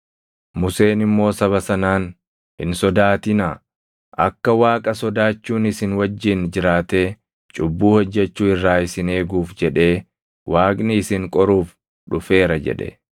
Museen immoo saba sanaan, “Hin sodaatinaa. Akka Waaqa sodaachuun isin wajjin jiraatee cubbuu hojjechuu irraa isin eeguuf jedhee Waaqni isin qoruuf dhufeera” jedhe.